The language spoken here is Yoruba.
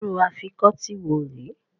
Irú Afikọ́tí wo rè é?